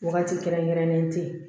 Wagati kɛrɛnkɛrɛnnen tɛ yen